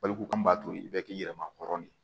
Baliku kun b'a to i bɛ k'i yɛrɛ ma hɔrɔn ye